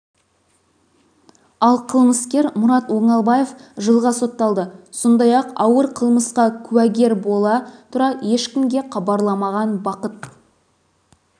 ал қылмыскер мұрат оңалбаев жылға сотталды сондай-ақ ауыр қылмысқа куәгер бола тұра ешкімге хабарламаған бақыт